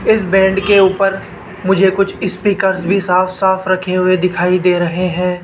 इस बैंड के ऊपर मुझे कुछ स्पीकर्स भी साफ साफ रखे हुए दिखाई दे रहे हैं।